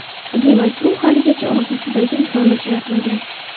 Demak, u haligacha orzusidagi insonni uchratmagan.